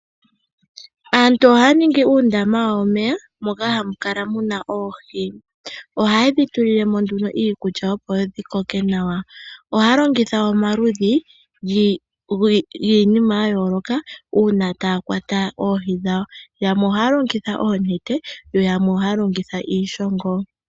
Aantu ohaya ningi uundama wawo womeya moka hamu kala muna oohi, ohaye dhi tulilemo nduno iikulya opo dhi koke nawa. Ohaya longitha omaludhi giinima ya yooloka uuna taya kwata oohi dhawo. Yamwe ohaya longitha oonete, yo yamwe ohaya longitha iishongo.